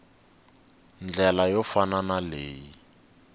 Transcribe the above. ndlela yo fana na leyi